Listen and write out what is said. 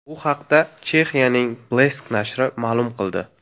Bu haqda Chexiyaning Blesk nashri ma’lum qildi .